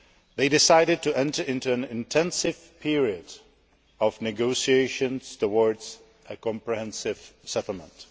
They decided to enter into an intensive period of negotiations towards a comprehensive settlement.